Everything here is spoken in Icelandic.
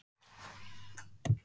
Salína, ekki fórstu með þeim?